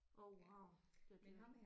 Åh wow det er dyrt